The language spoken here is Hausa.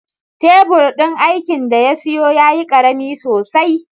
Tebur din aikin da ya siyo yayi ƙarami sosai